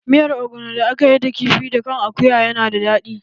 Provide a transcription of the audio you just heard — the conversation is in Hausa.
Miyar ogbono da akayi da kifi da kan akuya na da daɗi